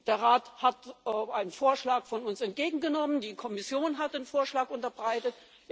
Der Rat hat einen Vorschlag von uns entgegengenommen, die Kommission hat einen Vorschlag unterbreitet.